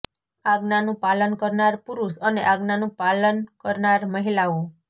આજ્ઞાનું પાલન કરનાર પુરુષ અને આજ્ઞાનું પાલન કરનાર મહિલાઓ